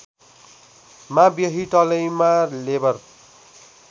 मा Whitlam labour